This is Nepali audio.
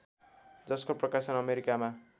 जसको प्रकाशन अमेरिकामा